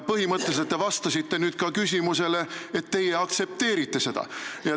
Põhimõtteliselt te vastasite nüüd ka küsimusele, kas te aktsepteerite seda.